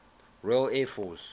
royal air force